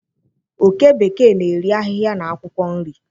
òké bekee na-eri ahịhịa na akwụkwọ nri.